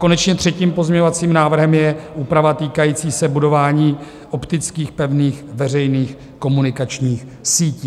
Konečně třetím pozměňovacím návrhem je úprava týkající se budování optických pevných veřejných komunikačních sítí.